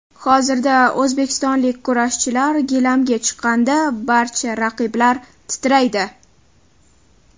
Hozirda o‘zbekistonlik kurashchilar gilamga chiqqanda barcha raqiblar titraydi.